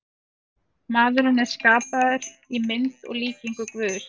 Maðurinn er skapaður í mynd og líkingu Guðs.